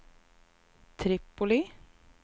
Tripoli